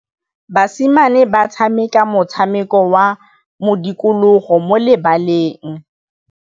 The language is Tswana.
Basimane ba tshameka motshameko wa modikologô mo lebaleng.